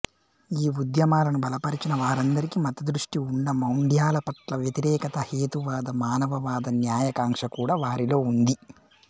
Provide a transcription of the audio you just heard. ఈ ఉద్యమాలను బలపరచిన వారందరికీ మతదృష్టి ఉన్నామౌఢ్యాలపట్ల వ్యతిరేకత హేతువాద మానవవాద న్యాయకాంక్ష కూడా వారిలోఉంది